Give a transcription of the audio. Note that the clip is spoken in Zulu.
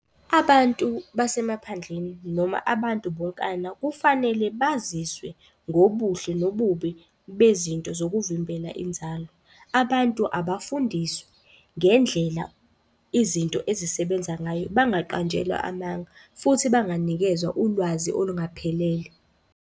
Abantu basemaphandleni noma abantu bonkana kufanele baziswe ngobuhle nobubi bezinto zokuvimbela inzalo. Abantu abafundiswe ngendlela izinto ezisebenza ngayo bangaqanjelwa amanga futhi banganikezwa ulwazi olungaphelele.